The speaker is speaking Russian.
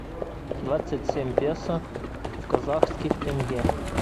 двадцать семь песо в казахских тенге